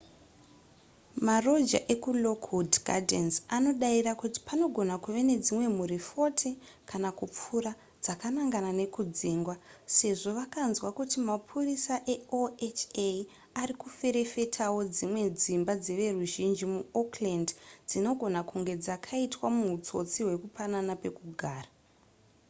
maroja ekulockwood gardens anodavira kuti panogona kuve nedzimwe mhuri 40 kana kupfuura dzakanangana nekudzingwa sezvo vakanzwa kuti mapurisa eoha ari kuferefetawo dzimwe dzimba dzeveruzhinji muoakland dzinogona kunge dzakaitwa muhutsotsi hwekupanana pekugara